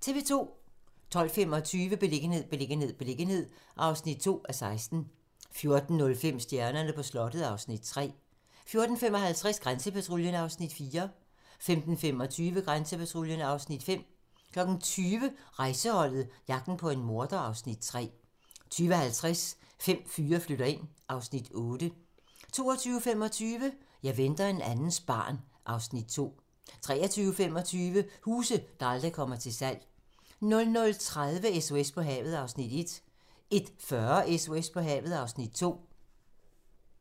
12:25: Beliggenhed, beliggenhed, beliggenhed (2:16) 14:05: Stjernerne på slottet (Afs. 3) 14:55: Grænsepatruljen (Afs. 4) 15:25: Grænsepatruljen (Afs. 5) 20:00: Rejseholdet - jagten på en morder (Afs. 3) 20:50: Fem fyre flytter ind (Afs. 8) 22:25: Jeg venter en andens barn (Afs. 2) 23:25: Huse, der aldrig kommer til salg 00:30: SOS på havet (Afs. 1) 01:40: SOS på havet (Afs. 2)